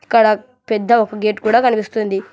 ఇక్కడ ఒక పెద్ద గేటు కూడా కనిపిస్తుంది.